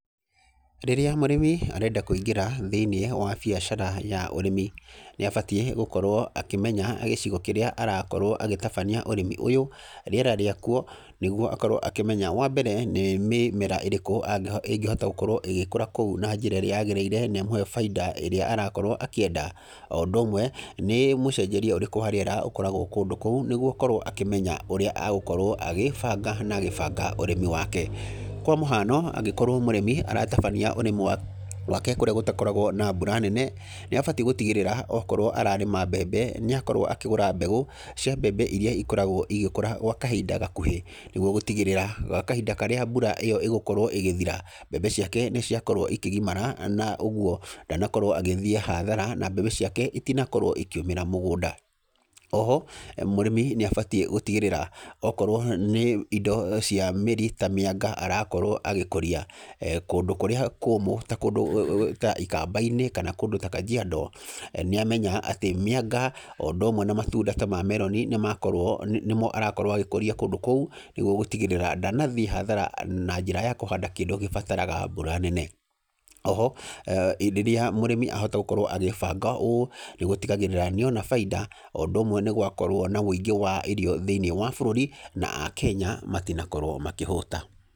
Rĩrĩa mũrĩmi arenda kũingĩra thĩiniĩ wa biashara ya ũrĩmi, nĩ abatiĩ gũkorwo akĩmenya gĩcigo kĩrĩa arakorwo agĩtabania ũrĩmi ũyũ, rĩera rĩa kuo nĩ guo akorwo akĩmenya wa mbere, nĩ mĩmera ĩrĩkũ ĩngĩhota gũkorwo ĩgũkũra kũu na njĩra ĩrĩa yagĩrĩire na ĩmũhe bainda ĩrĩa arakorwo akĩenda. O ũndu ũmwe nĩ mũcenjerie ũrĩkũ wa rĩera ũkoragwo kũndũ kũu, nĩ guo gũkorwo akĩmenya ũrĩa agũkarwo agĩĩbanga na agĩbanga ũrĩmi wake. Kwa mũhano, angĩkorwo mũrĩmi aratabania ũrĩmi wake kũrĩa gũtakoragwo na mbura nene, nĩ abatiĩ gũtigĩrĩra okorwo ararĩma mbembe, nĩ akorwo akĩgũra mbegũ cia mbembe iria ikoragwo igĩkũra gwa kahinda gakuhĩ, nĩ guo gũtigĩrĩra gwa kahinda karĩa mbura ĩyo ĩgũkorwo ĩgĩthira, mbembe ciake nĩ ciakorwo ikĩgimara na ũguo ndanakorwo agĩthiĩ hathara na mbembe ciake itinakorwo ikĩũmĩra mũgunda. Oho, mũrĩmi nĩ abatiĩ gũtigĩrĩa okorwo nĩ indo cia mĩri, ta mĩanga, arakorwo agĩkũria kũndũ kũrĩa kũũmũ ta Ikamba-inĩ kana kũndũ ta Kajiado, nĩ amenya atĩ mĩanga o ũndũ ũmwe na matunda ta ma meroni nĩ makorwo, nĩmo arakorwo agĩkũria kũndũ kũu nĩ guo gũtigĩrĩra ndanathiĩ hathara na njĩra ya kũhanda kĩndũ gĩbataraga mbura nene. Oho, rĩrĩa mũrĩmi ahota gũkorwo agĩĩbanga ũũ nĩ gũtigĩrĩra nĩ ona bainda o ũndũ ũmwe nĩ gũakorwo na wĩingĩ wa irio thĩiniĩ wa bũrũri na Akenya matinakorwo makĩhũta